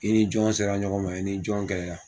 I ni jɔn sera ɲɔgɔn ma i ni jɔn kɛlɛ la.